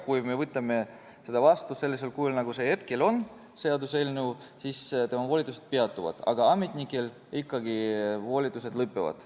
Kui me võtame seaduse vastu sellisel kujul, nagu see hetkel on, siis tema volitused peatuvad, aga ametnikel ikkagi volitused lõpevad.